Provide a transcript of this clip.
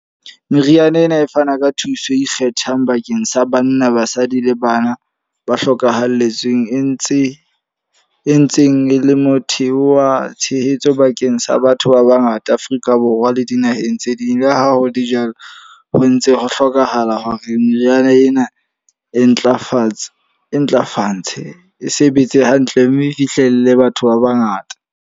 Meriana ena e fana ka thuso e ikgethang bakeng sa banna, basadi le bana ba hlokahalletsweng. E ntse e ntseng e le motheo wa tshehetso bakeng sa batho ba ba ngata Afrika Borwa, ke dinaheng tse ding. Le ha ho le jwalo ho ntse ho hlokahala hore meriana ena e ntlafatsa, e ntlafatse e sebetse hantle. Mme e fihlelle batho ba ba ngata.